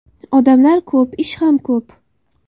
Odamlar ko‘p, ish ham ko‘p.